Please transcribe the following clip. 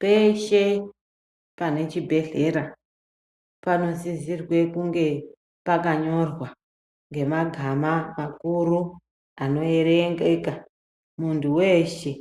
Peeshe, pane chibhedhlera, panosisirwe kunge, pakanyorwa ngemagama makuru, anoerengeka, munthu weeshe,